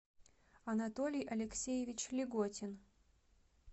анатолий алексеевич леготин